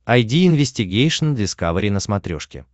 айди инвестигейшн дискавери на смотрешке